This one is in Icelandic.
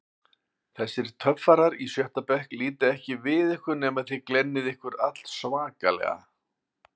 Þessir töffarar í sjötta bekk líta ekki við ykkur nema þið glennið ykkur allsvakalega.